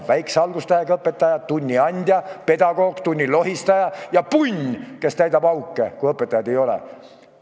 Väikse algustähega õpetaja on tunniandja, pedagoog, tunnilohistaja ja punn, kes täidab auke, kui õpetajaid ei ole.